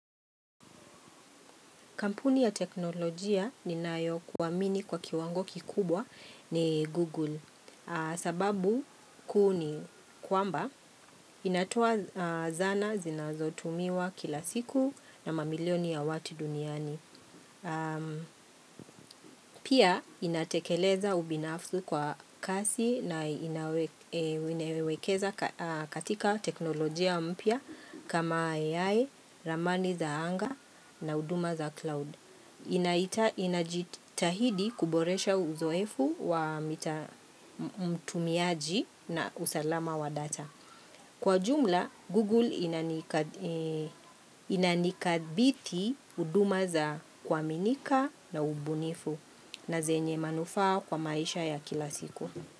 Kampuni ya teknolojia ninayo kuamini kwa kiwango kikubwa ni Google sababu kuni kwamba inatoa zana zinazotumiwa kila siku na mamilioni ya watu duniani Pia inatekeleza ubinafsi kwa kasi na inawekeza katika teknolojia mpya kama AI, ramani za anga na huduma za cloud Inajitahidi kuboresha uzoefu wa mtumiaji na usalama wa data Kwa jumla, Google inanikabithi huduma za kuaminika na ubunifu na zenye manufaa kwa maisha ya kila siku.